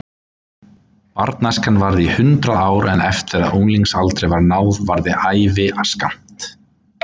Barnæskan varði í hundrað ár en eftir að unglingsaldri var náð varði ævin skammt.